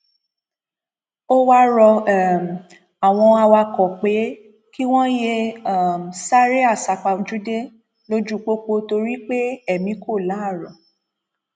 ó wáá rọ um àwọn awakọ pé kí wọn yéé um sáré àsápajúdé lójú pópó torí pé èmi kò láárọ